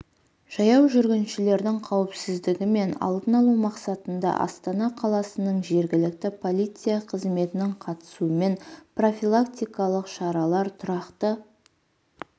жаяу жүргіншілердің қауіпсіздігі мен алдын алу мақсатында астана қаласының жергілікті полиция қызметінің қатысуымен профилактикалық шаралар тұрақты